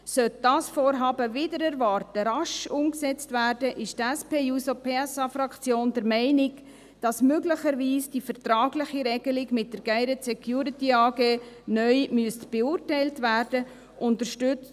Sollte dieses Vorhaben, wider Erwarten, rasch umgesetzt werden, ist die SP-JUSO-PSA-Fraktion der Meinung, dass möglicherweise die vertragliche Regelung mit der GSD neu beurteilt werden muss.